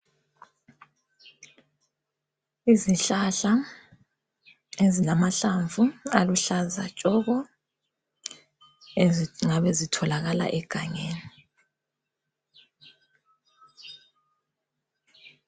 Izihlahla ezilamahlamvu aluhlaza tshoko ezingabe zitholakala egangeni.